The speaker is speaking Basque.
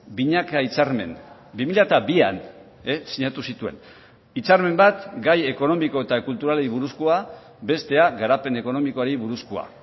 binaka hitzarmen bi mila bian sinatu zituen hitzarmen bat gai ekonomiko eta kulturalei buruzkoa bestea garapen ekonomikoari buruzkoa